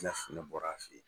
bɔra a fɛ yen